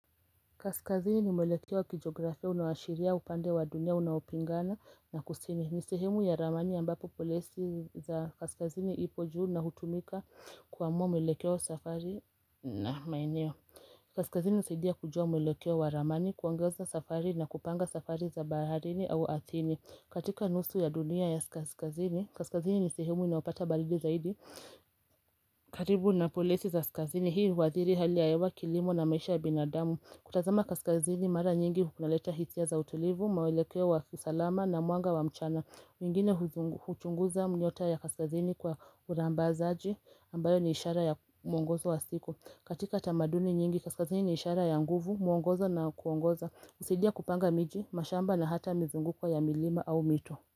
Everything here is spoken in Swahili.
Kaskazini ni mwelekeo kijografia unaoashiria upande wa dunia unaopingana na kusini ni sehemu ya ramani ambapo polesi za kaskazini ipo juu na hutumika kuamua mweleke wa safari na maeneo Kaskazini husaidia kujua mwelekeoa wa ramani kuangaza safari na kupanga safari za baharini au ardhini katika nusu ya dunia Kaskazini ni sehemu inayopata baridi zaidi karibu na polesi za kaskazini hii uathiri hali ya hewa kilimo na maisha ya binadamu kutazama kaskazini mara nyingi kunaleta hisia za utulivu, mwelekeo wa kiusalama na mwanga wa mchana mwingine huchunguza nyota ya kaskazini kwa urambazaji ambayo ni ishara ya muongozo wa siku katika tamaduni nyingi kaskazini ni ishara ya nguvu, muongozo na kuongoza husaidia kupanga miji, mashamba na hata mizunguko ya milima au mito.